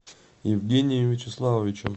евгением вячеславовичем